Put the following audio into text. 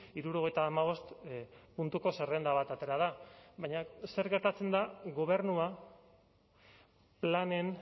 hirurogeita hamabost puntuko zerrenda bat atera da baina zer gertatzen da gobernua planen